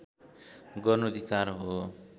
गर्नु धिक्कार हो